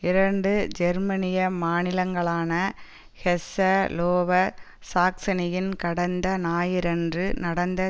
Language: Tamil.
இரண்டு ஜெர்மனிய மாநிலங்களான ஹெஸ்ஸ லோவர் சாக்சனியில் கடந்த ஞாயிறன்று நடந்த